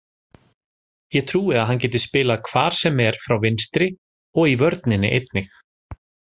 Ég trúi að hann geti spilað hvar sem er frá vinstri og í vörninni einnig.